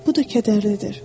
Bu da kədərlidir.